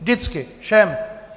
Vždycky všem.